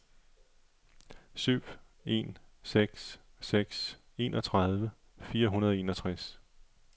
syv en seks seks enogtredive fire hundrede og enogtres